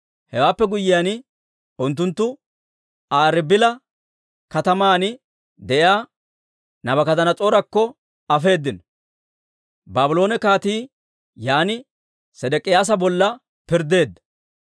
Hewaappe guyyiyaan, unttunttu Aa Ribila kataman de'iyaa Naabukadanas'oorakko afeedino. Baabloone kaatii yaan Sedek'iyaasa bolla pirddeedda.